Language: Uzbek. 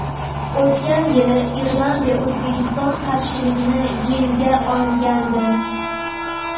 O‘tgan yili Iordaniya O‘zbekiston qarshiligini yenga olgandi.